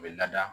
U bɛ lada